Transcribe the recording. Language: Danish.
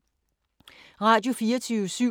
Radio24syv